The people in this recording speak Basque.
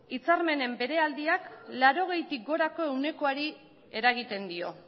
hitzarmenen beheraldiak laurogeitik gorako ehunekoari eragiten dio